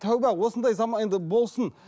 тәубә осындай заман енді болсын